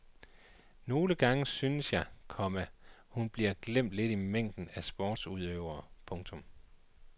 Nogle gange synes jeg, komma hun bliver glemt lidt i mængden af sportsudøvere. punktum